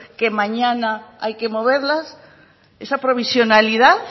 que mañana hay que moverlas esa provisionalidad